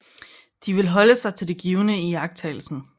De vil holde sig til det givne i iagttagelsen